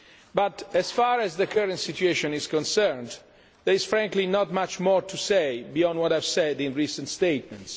But as far as the current situation is concerned, there is frankly not much more to say beyond what I have said in recent statements.